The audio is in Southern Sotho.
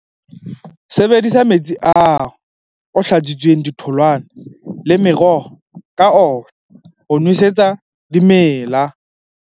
Sebedisa metsi ao o hlatswitseng ditholwana le meroho ka ona ho nwesetsa dimela.